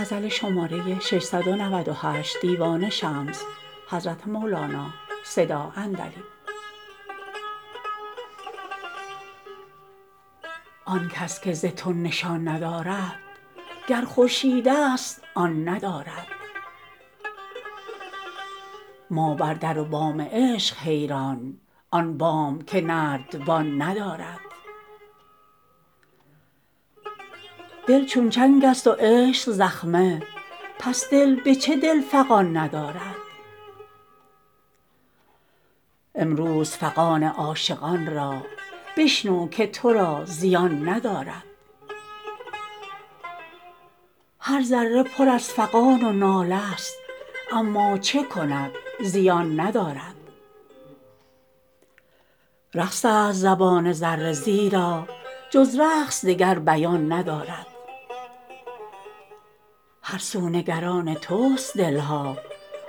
آن کس که ز تو نشان ندارد گر خورشیدست آن ندارد ما بر در و بام عشق حیران آن بام که نردبان ندارد دل چون چنگست و عشق زخمه پس دل به چه دل فغان ندارد امروز فغان عاشقان را بشنو که تو را زیان ندارد هر ذره پر از فغان و ناله ست اما چه کند زبان ندارد رقص است زبان ذره زیرا جز رقص دگر بیان ندارد هر سو نگران تست دل ها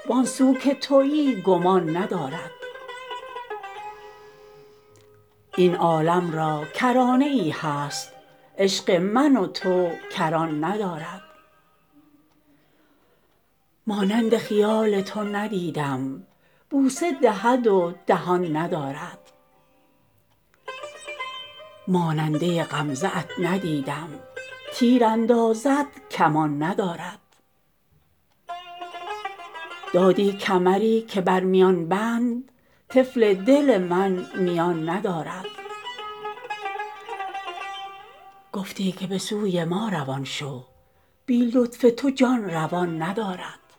وان سو که توی گمان ندارد این عالم را کرانه ای هست عشق من و تو کران ندارد مانند خیال تو ندیدم بوسه دهد و دهان ندارد ماننده غمزه ات ندیدم تیر اندازد کمان ندارد دادی کمری که بر میان بند طفل دل من میان ندارد گفتی که به سوی ما روان شو بی لطف تو جان روان ندارد